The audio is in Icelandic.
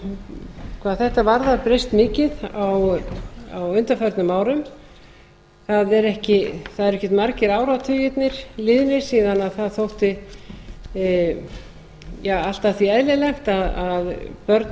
hefur hvað þetta varðar breyst mikið á undaförnum árum það eru ekkert margir áratugirnir liðnir síðan það þótti allt að því eðlilegt að börn